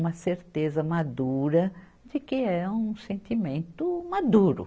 Uma certeza madura de que é um sentimento maduro.